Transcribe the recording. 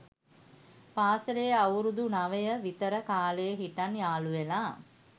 පාසැලේ අවුරුදු නවය විතර කාලෙ හිටන් යාළුවෙලා